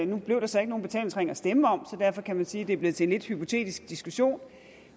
nu blev der så ikke nogen betalingsring at stemme om så derfor kan man sige at det er blevet til en lidt hypotetisk diskussion